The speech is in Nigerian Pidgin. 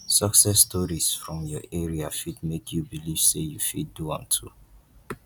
success stories from your area fit make you believe say you fit do am too